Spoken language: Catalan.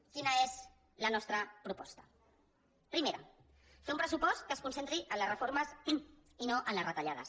quina és la nostra proposta primera fer un pressupost que es concentri en les reformes i no en les retallades